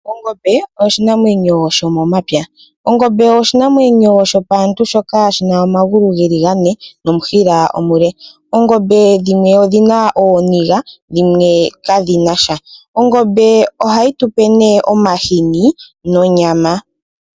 Ongobe oshinamwenyo shomomapya. Ongobe oshinamwenyo shopaantu shoka shina omagulu geli gane nomushila omule. Oongobe dhimwe odhina ooniga, dhimwe kadhinasha. Ongobe oha yi tupe nee omahini nonyama.